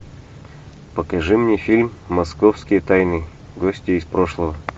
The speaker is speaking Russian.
покажи мне фильм московские тайны гостья из прошлого